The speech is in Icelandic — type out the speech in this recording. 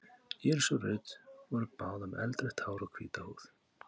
Íris og Ruth voru báðar með eldrautt hár og hvíta húð.